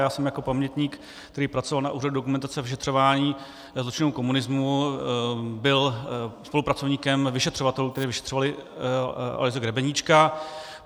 Já jsem jako pamětník, který pracoval na Úřadu dokumentace a vyšetřování zločinů komunismu, byl spolupracovníkem vyšetřovatelů, kteří vyšetřovali Aloise Grebeníčka.